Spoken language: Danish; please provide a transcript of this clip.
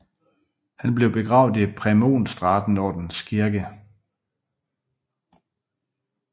Han blev begravet Præmonstratenserordenens kirke St